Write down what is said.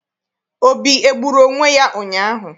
Obi egburu onwe ya ụnyaahụ?